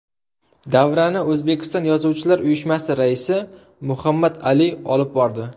Davrani O‘zbekiston Yozuvchilar uyushmasi raisi Muhammad Ali olib bordi.